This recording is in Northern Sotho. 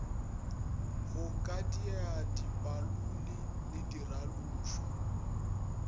go kadiela dipalone le diralošwa